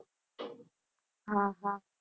હા હા.